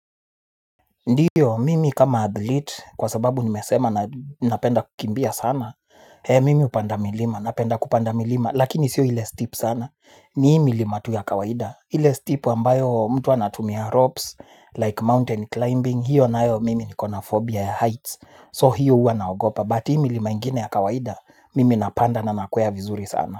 Ndiyo, mimi kama athlete, kwa sababu nimesema na napenda kukimbia sana, mimi hupanda milima, napenda kupanda milima, lakini sio ile steep sana, ni hiii milima tu ya kawaida, ile steep ambayo mtu anatumia ropes, like mountain climbing, hiyo nayo mimi nikona phobia ya heights, so hiyo huwa naogopa, but hii milima ingine ya kawaida, mimi napanda na nakwea vizuri sana.